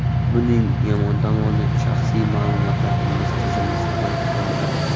Buning yomon tomoni shaxsiy ma’lumotlaringiz tizimda saqlab qolinadi.